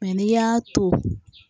Mɛ n'i y'a to